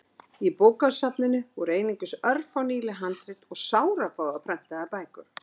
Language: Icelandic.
Í bókasafninu voru einungis örfá nýleg handrit og sárafáar prentaðar bækur.